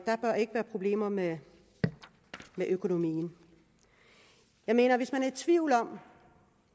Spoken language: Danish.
der bør ikke være problemer med økonomien jeg mener at hvis man er i tvivl om